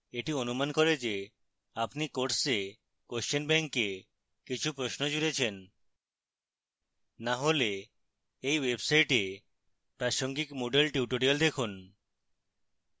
এটি অনুমান করে যে আপনি course question bank এ কিছু প্রশ্ন জুড়েছেন